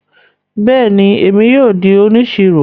Bẹẹni, Èmí yóò di òníṣírò